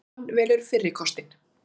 Hann velur fyrri kostinn.